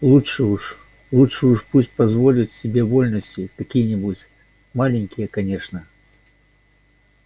лучше уж лучше уж пусть позволит себе вольности какие-нибудь маленькие конечно